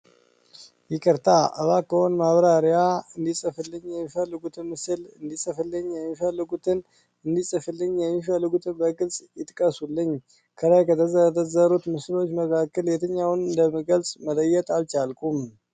ይቅርታ፣ እባክዎ ማብራሪያ እንዲጽፍልኝ የሚፈልጉትን ምስል እንዲጽፍልኝ የሚፈልጉትን እንዲጽፍልኝ የሚፈልጉትን በግልጽ ይጥቀሱልኝ። ከላይ ከተዘረዘሩት ምስሎች መካከል የትኛውን እንደምገልጽ መለየት አልቻልኩም።